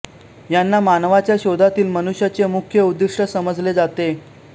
यांना मानवाच्या शोधातील मनुष्याचे मुख्य उद्दिष्ट समजले जाते